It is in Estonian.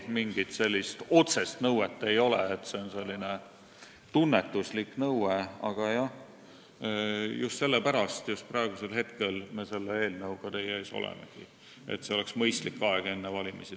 Mingit otsest nõuet ei ole, see on pigem tunnetuslik arusaam, aga jah, just sellepärast me olemegi praegu selle eelnõuga teie ees, et jääks mõistlik aeg enne valimisi.